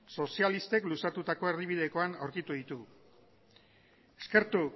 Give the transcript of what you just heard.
sozialistek luzatutako erdibidekoan aurkitu ditugu eskertu